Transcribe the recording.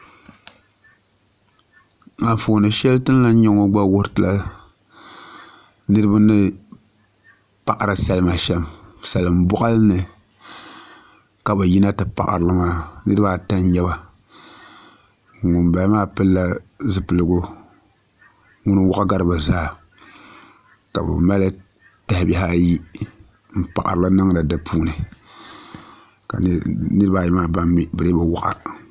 Anfooni shɛli ti ni lahi nyɛ ŋo gba wuhuri tila niraba ni paɣari salima shɛm salin boɣali ni ka bi yina ti paɣari li maa niraba ata n nyɛba ŋunbala maa pilila zipiligu ŋuni n waɣa gari bi zaa ka bi mali tahabihi ayi n paɣari li niŋdi di puuni niraba ayi maa mii bi dii bi waɣa